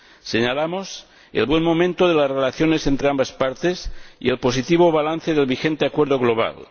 Señalamos el buen momento de las relaciones entre ambas partes y el positivo balance del vigente acuerdo global.